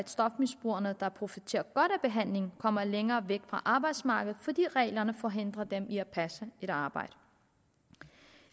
stofmisbrugerne der profiterer godt af behandlingen kommer længere væk fra arbejdsmarkedet fordi reglerne forhindrer dem i at passe et arbejde